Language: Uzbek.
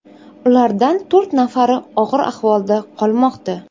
Ulardan to‘rt nafari og‘ir ahvolda qolmoqda.